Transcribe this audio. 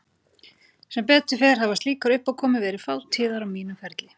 Sem betur fer hafa slíkar uppákomur verið fátíðar á mínum ferli.